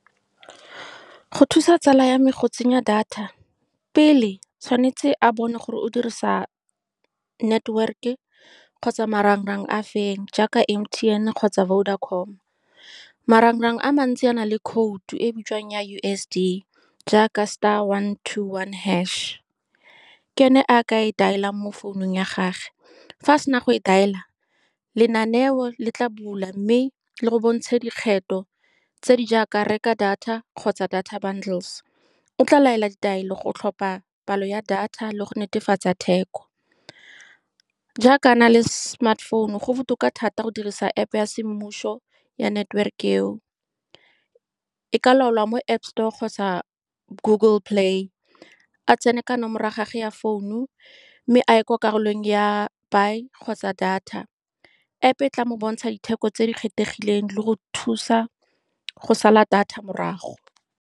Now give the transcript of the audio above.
Go thusa tsala ya me go tsenya data, pele tshwanetse a bone gore o dirisa network-ke kgotsa marang-rang a feng, jaaka M_T_N kgotsa Vodacom-o. Marang-rang a mantsi a na le khoutu e bitswang ya U_S_S_D, jaaka star one two one hash-he, ke ene a ka e dial-ang mo founung ya gagwe. Fa a sena go e dial-la, lenaneo le tla bula mme le go bontshe dikgetho tse di jaaka reka data kgotsa data bundles-e. O tla laela ditaelo go tlhopha palo ya data le go netefatsa theko. Jaaka a na le smartphone, go botoka thata go dirisa App ya semmuso ya network-e eo. E ka laolwa mo App store kgotsa Google Play. A tsene ka nomoro ya gagwe ya founu, mme a ye kwa karolong ya buy-e kgotsa data. App e tla mo bontsha ditheko tse di kgethegileng le go thusa go sala data morago.